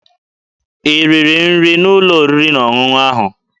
I riri nri n'ụlọ oriri na ọṅụṅụ ahụ?